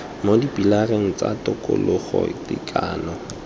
mo dipilareng tsa tokologo tekano